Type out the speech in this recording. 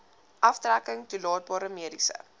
aftrekking toelaatbare mediese